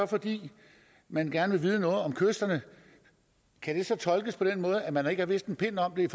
fordi man gerne vil vide noget om kysterne kan det så tolkes på den måde at man ikke har vidst en pind om det